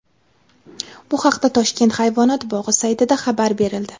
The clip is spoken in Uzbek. Bu haqda Toshkent hayvonot bog‘i saytida xabar berildi .